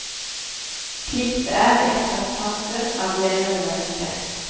Slik det er i ethvert samfunn av levende mennesker.